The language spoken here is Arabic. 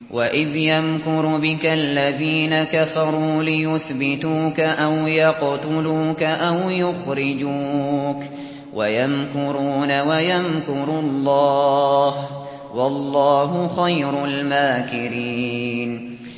وَإِذْ يَمْكُرُ بِكَ الَّذِينَ كَفَرُوا لِيُثْبِتُوكَ أَوْ يَقْتُلُوكَ أَوْ يُخْرِجُوكَ ۚ وَيَمْكُرُونَ وَيَمْكُرُ اللَّهُ ۖ وَاللَّهُ خَيْرُ الْمَاكِرِينَ